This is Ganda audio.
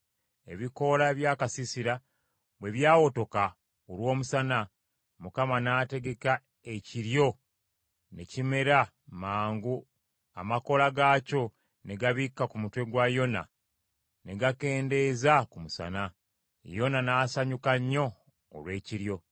Ebikoola by’akasiisira bwe by’awotoka olw’omusana, Mukama Katonda n’ategeka ekiryo ne kimera mangu amakoola gaakyo ne gabikka ku mutwe gwa Yona ne gakendeeza ku musana. Yona n’asanyuka nnyo olw’ekiryo.